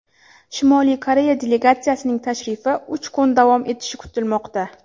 Shimoliy Koreya delegatsiyasining tashrifi uch kun davom etishi kutilmoqda.